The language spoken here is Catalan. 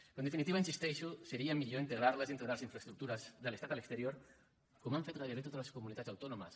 però en definitiva hi insisteixo seria millor integrar les dintre de les infraestructures de l’estat a l’exterior com han fet gairebé totes les comunitats autònomes